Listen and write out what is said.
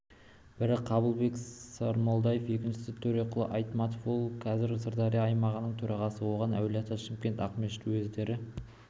бірі қабылбек сармолдаев екіншісі төреқұл айтматов ол қазір сырдария аймағының төрағасы оған әулиеата шымкент ақмешіт уездері